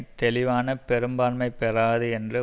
தெளிவான பெரும்பான்மை பெறாது என்று